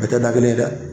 Bɛɛ tɛ da kelen ye dɛ